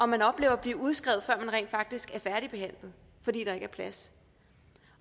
man oplever at blive udskrevet før man rent faktisk er færdigbehandlet fordi der ikke er plads